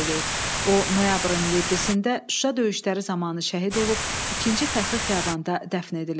O, noyabrın 7-də Şuşa döyüşləri zamanı şəhid olub, ikinci fəxri xiyabanda dəfn edilib.